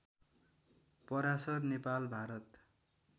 Parashar Nepal Bharat